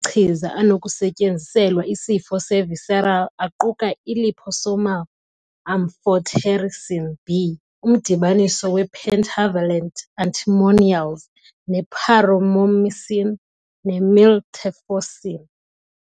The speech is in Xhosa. Amanye amachiza anokusetyenziselwa isifo se-visceral aquka i- liposomal amphotericin B, umdibaniso we- pentavalent antimonials ne- paromomycin, ne-miltefosine.